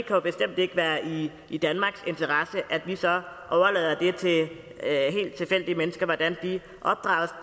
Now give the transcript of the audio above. jo bestemt ikke være i i danmarks interesse at vi så overlade det til helt tilfældige mennesker hvordan de opdrager